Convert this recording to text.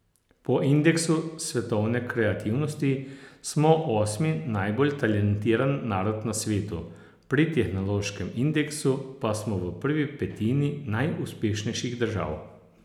Po indeksu svetovne kreativnosti smo osmi najbolj talentiran narod na svetu, pri tehnološkem indeksu pa smo v prvi petini najuspešnejših držav.